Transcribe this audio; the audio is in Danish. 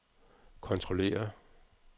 kontrollere